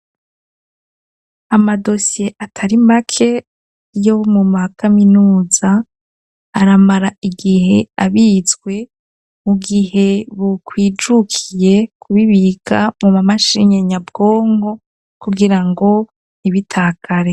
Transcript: Amadosiye atari make yo mu makaminuza aramara igihe abitswe mu gihe bukwijukiye kubibika mu mamashine nyabwongo kugira ngo ntibitakare.